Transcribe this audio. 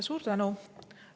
Suur tänu!